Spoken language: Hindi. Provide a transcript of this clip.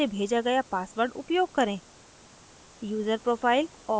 इसके लिए email से भेजा गया password उपयोग करें